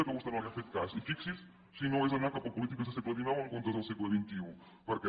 que vostè no li ha fet cas i fixi s’hi si no és anar cap a polítiques de segle xix en comptes del segle xxi perquè